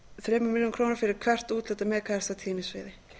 þremur milljónum króna fyrir hvert úthlutað mhz af tíðnisviði